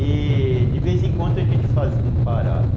E de vez em quando a gente fazia uma parada.